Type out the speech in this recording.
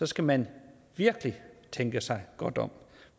skal man virkelig tænke sig godt om